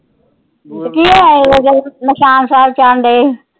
ਕੀ ਹੋਇਆ ਸੀ, ਨਿਸ਼ਾਨ ਸਾਹਿਬ ਜਾਨ ਦਏ।